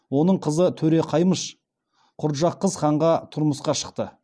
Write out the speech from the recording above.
оның қызы төре қаймыш құрджақыз ханға тұрмысқа шықты